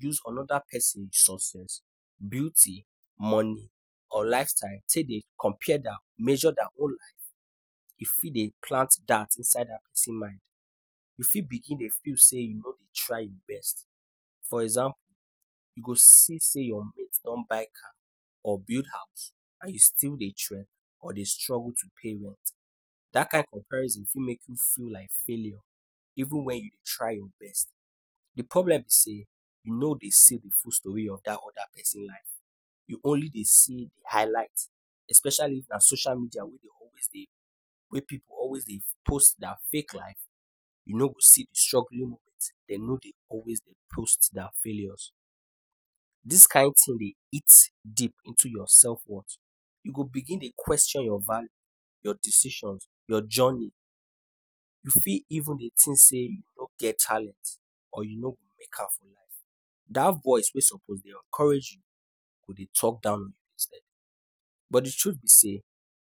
use another pesin success, beauty, money or lifestyle take dey compare their or measure their own life, e fit dey plant doubt inside dat pesin mind. You fit begin dey feel say you no dey try your best. For example, you go see say your mate don buy car or build house while you still dey trek or dey struggle to pay rent. Dat kain comparison fit make you feel like failure even when you try your best. The problem be say, you no dey see the full stori of dat other pesin life. You only dey see the highlights — especially if na social media wey dey always dey, wey pipu always dey post their fake life. You no go see the struggling moment. Dem no dey always dey post their failures. Dis kind thing dey eat deep into your self-worth. You go begin dey question your value, your decisions, your journey. You fit even dey think say you no get talent or you no go make am for life. Dat voice wey suppose dey encourage you go dey talk down on you instead. But the truth be say,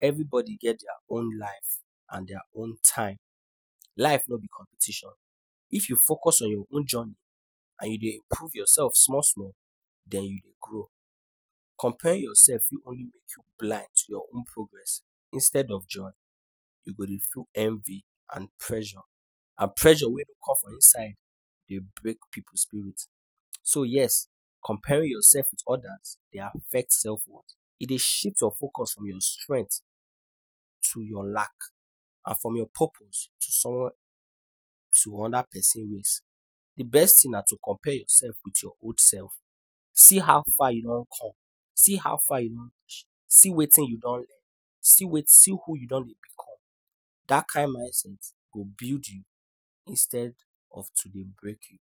everybody get their own life and their own time. Life no be competition. If you focus on your own journey and you dey improve yourself small-small, then you grow. Comparing yourself fit only make you blind to your own progress. Instead of joy, you go dey feel envy and pressure. And pressure wey dey come from inside dey break pipu spirit. So, yes comparing yourself with others dey affect self-worth. E dey shift your focus from your strength to your lack, and from your purpose to someone to another pesin ways. The best thing na to compare yourself with your old self. See how far you don come, see how far you reach. See wetin you don learn. See who you don dey become. Dat kain mindset go build you instead of to dey break you.